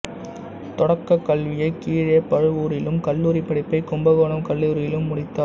தொடக்கக் கல்வியை கீழப் பழுவூரிலும் கல்லூரிப் படிப்பை கும்பக்கோணம் கல்லூரியிலும் முடித்தார்